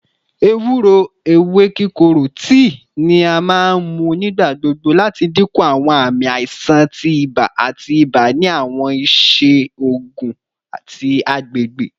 Ewuro (ewe kikoro) tii ni a maa n mu nigbagbogbo lati dinku awọn aami aisan ti iba ati iba ni awọn iṣe oogun ti agbegbe